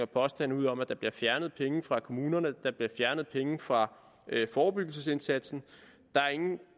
påstande ud om at der bliver fjernet penge fra kommunerne og der bliver fjernet penge fra forebyggelsesindsatsen der er ingen